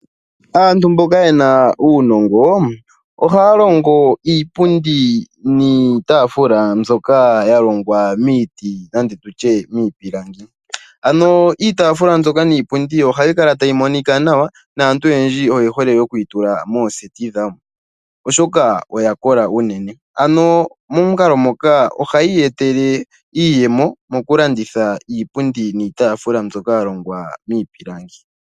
Aantu mboka ye na uunongo ohaya longo iipundi niitaafula mbyoka ya longwa miiti nenge tu tye miipilangi, ano iitaafula mbyoka niipundi ohayi kala tayi monika nawa naantu oyendji oye hole oku yi tula mooseti dhawo oshoka oya kola unene, ano momukalo moka ohaya iyetele iiyemo mokuladhitha iipundi niitaafula mbyoka ya longwa miipilangi.